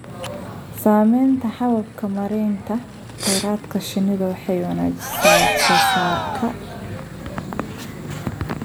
Samaynta hababka maaraynta kheyraadka shinnidu waxay wanaajisaa wax soo saarka.